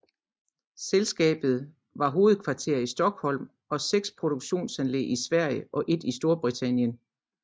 Selskabet har hovedkvarter i Stockholm og seks produktionsanlæg i Sverige og et i Storbritannien